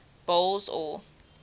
boles aw